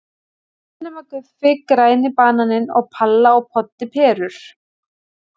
Allir nema Guffi, Græni bananinn og Palla og Poddi perur.